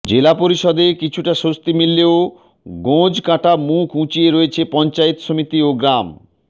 জেলা পরিষদে কিছুটা স্বস্তি মিললেও গোঁজ কাঁটা মুখ উঁচিয়ে রয়েছে পঞ্চায়েত সমিতি ও গ্রাম